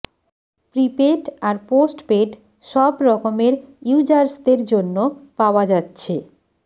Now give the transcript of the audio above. prepaid আর postpaid সব রকমের ইউজার্সদের জন্য পাওয়া যাচ্ছে